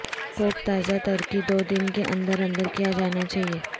کوک تازہ ترکی دو دن کے اندر اندر کیا جانا چاہئے